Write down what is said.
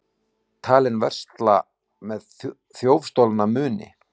Talinn versla með þjófstolna muni